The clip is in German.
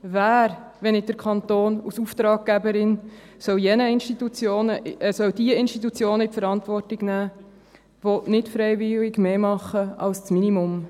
Wer, wenn nicht der Kanton als Auftraggeberin, soll die Institutionen in die Verantwortung nehmen, die nicht freiwillig mehr machen als das Minimum?